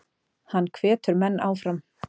Hann hvetur menn áfram.